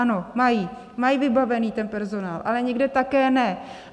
Ano, mají, mají vybavený ten personál, ale někde také ne.